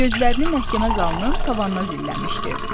Gözlərini məhkəmə zalının tavanına zilləmişdi.